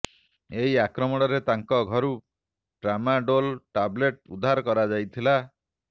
ଏହି ଆକ୍ରମଣରେ ତାଙ୍କ ଘରୁ ଟ୍ରାମାଡୋଲ ଟାବଲେଟ୍ ଉଦ୍ଧାର କରାଯାଇଥିଲା